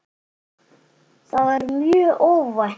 Það var mjög óvænt.